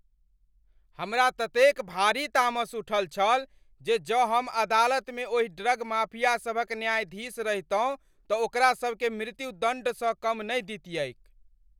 हमरा ततेक भारी तामस उठल छल जे जँ हम अदालतमे ओहि ड्रग माफिया सभक न्यायाधीश रहितहुँ तँ ओकरा सभकेँ मृत्युदण्डसँ कम नहि दितियैक।